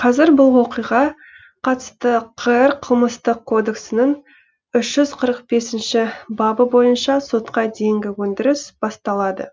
қазір бұл оқиға қатысты қр қылмыстық кодексінің үш жүз қырық бесінші бабы бойынша сотқа дейінгі өндіріс басталады